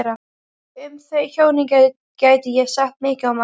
Um þau hjónin gæti ég sagt mikið og margt.